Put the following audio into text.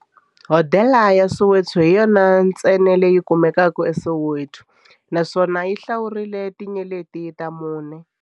Hodela ya Soweto hi yona ntsena leyi kumekaka eSoweto, naswona yi hlawuriwa hi tinyeleti ta mune.